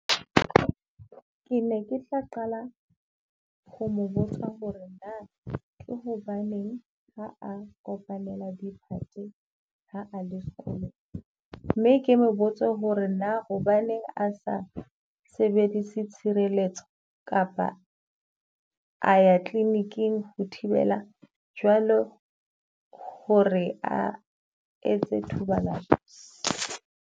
Ke ne ke tla qala ho mo botsa ho re na hobaneng ha a kopanela diphate ha le sekolong. Mme ke mo botsa ho re na hobaneng a sa sebedise tshireletso kapa a ya clinic-ing ho thibela jwalo ho re a etse thobalano.